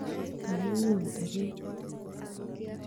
Kaiun teret?